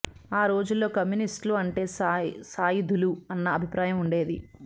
ఆ రోజుల్లో కమ్యూనిస్టులు అంటే సాయుధులు అన్న అభిప్రాయం ఉండేది